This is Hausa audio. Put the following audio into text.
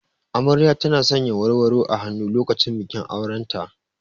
Amarya tana sanya warwaro a hannu lokacin bikin auren ta.